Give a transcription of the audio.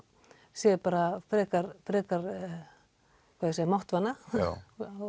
sé bara frekar máttvana já